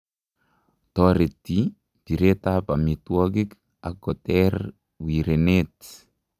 Toretii biret ab omitwogik ak koter wireneet